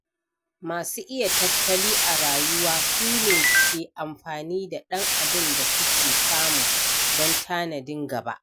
Masu iya tattali a rayuwa su ne ke amfani da ɗan abin da suke samu don tanadin gaba.